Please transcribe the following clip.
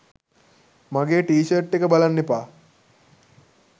මගේ T shirt එක බලන්න එපා